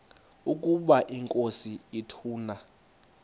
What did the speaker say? ukaba inkosi ituna